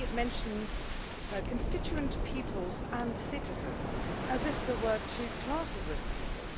Suddenly it mentions constituent peoples and citizens, as if there were two classes of people.